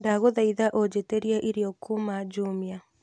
ndagũthaitha ũnjĩtĩrie irio kuuma jumia